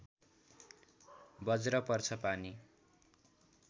बज्र पर्छ पानी